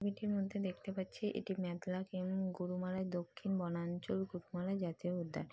এটির মধ্যে দেখতে পাচ্ছি এটি মেদলা ক্যাম্প গরুমারা দক্ষিণ বনাঞ্চল। গরুমারা জাতীয় উদ্যান।